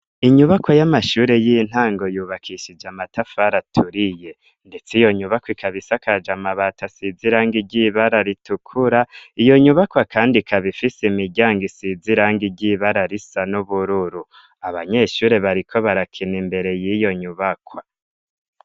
Inyubakwa y'amashure y'intango yubakishije amatafari aturiye ndetse iyo nyubakwa ikaba isakaje amabati asize irangi ry'ibara ritukura iyo nyubakwa kandi ikaba ifise imiryango isize irangi ry'ibara risa n'ubururu, abanyeshure bariko barakina imbere y'iyo nyubakwa.